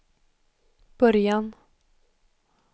början